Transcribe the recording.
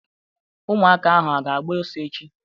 Ụmụaka ahụ a ga-agba ọsọ echi?